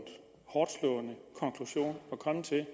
hårdtslående konklusion at komme til